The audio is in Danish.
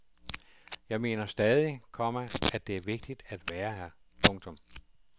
Jeg mener stadig, komma at det er vigtigt at være her. punktum